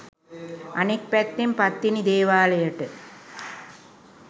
අනෙක් පැත්තෙන් පත්තිනි දේවාලයට